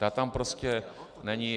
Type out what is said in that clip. Ta tam prostě není.